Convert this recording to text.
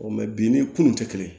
bi ni kun tɛ kelen ye